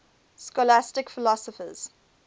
scholastic philosophers